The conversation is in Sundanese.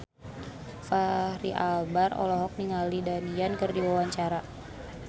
Fachri Albar olohok ningali Donnie Yan keur diwawancara